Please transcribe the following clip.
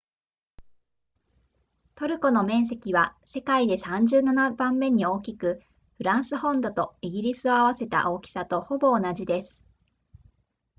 トルコの面積は世界で37番目に大きくフランス本土とイギリスを合わせた大きさとほぼ同じです